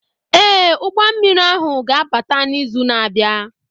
Ee, ụgbọ mmiri ahụ ga-abata n'izu na-abịa.